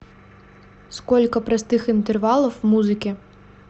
сколько простых интервалов в музыке